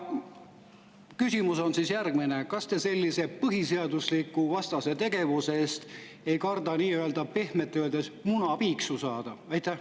Küsimus on järgmine: kas te sellise põhiseadusevastase tegevuse eest ei karda pehmelt öeldes munapiiksu saada?